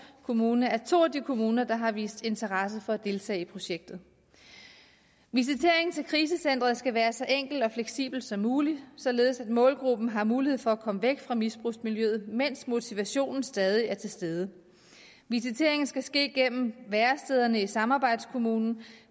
kommune er to af de kommuner der har vist interesse for at deltage i projektet visiteringen til krisecenteret skal være så enkelt og fleksibelt som muligt således at målgruppen har mulighed for at komme væk fra misbrugsmiljøet mens motivationen stadig er til stede visiteringen skal ske gennem værestederne i samarbejdskommunen